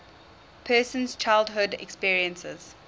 person's childhood experiences